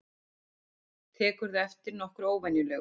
Tekurðu eftir nokkru óvenjulegu?